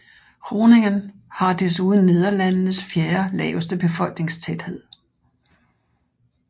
Groningen har desuden Nederlandenes fjerde laveste befolkningstæthed